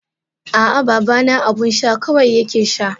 Aa babana abun sha kawai yake sha.